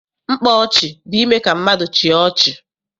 Mkpa ọchị bụ ime ka ndị mmadụ chịa ọchị.